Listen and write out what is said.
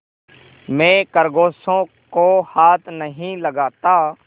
मैं खरगोशों को हाथ नहीं लगाता